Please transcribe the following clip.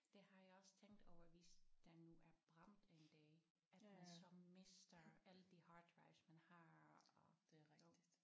Det har jeg også tænkt over hvis der nu er brand en dag at man så mister alle de hard drives man har og jo